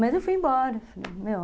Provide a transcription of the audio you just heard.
Mas eu fui embora entendeu?